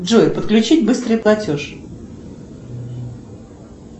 джой подключить быстрый платеж